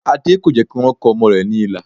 Adé kò jẹ́ kí wọ́n kọ ọmọ rẹ̀ ní ilà